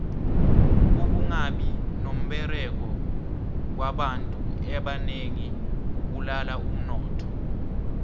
ukungabi nomberego kwabantu ebanengi kubulala umnotho